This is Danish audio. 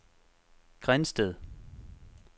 Grindsted